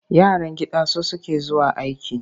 Yaran gida su suke zuwa aike.